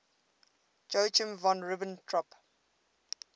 joachim von ribbentrop